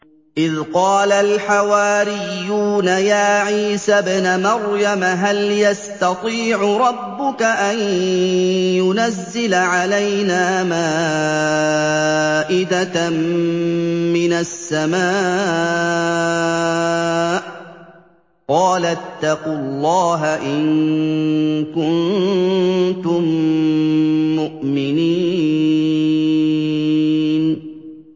إِذْ قَالَ الْحَوَارِيُّونَ يَا عِيسَى ابْنَ مَرْيَمَ هَلْ يَسْتَطِيعُ رَبُّكَ أَن يُنَزِّلَ عَلَيْنَا مَائِدَةً مِّنَ السَّمَاءِ ۖ قَالَ اتَّقُوا اللَّهَ إِن كُنتُم مُّؤْمِنِينَ